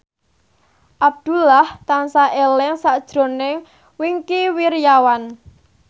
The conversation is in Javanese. Abdullah tansah eling sakjroning Wingky Wiryawan